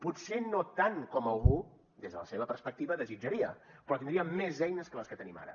potser no tant com algú des de la seva perspectiva desitjaria però tindríem més eines que les que tenim ara